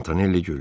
Montanelli güldü.